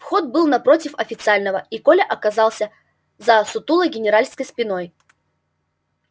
вход был напротив официального и коля оказался за сутулой генеральской спиной